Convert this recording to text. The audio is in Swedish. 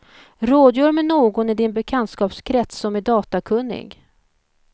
Rådgör med någon i din bekantskapskrets som är datakunnig.